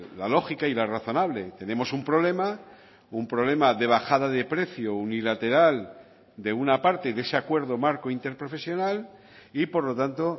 la lógica y la razonable tenemos un problema un problema de bajada de precio unilateral de una parte de ese acuerdo marco interprofesional y por lo tanto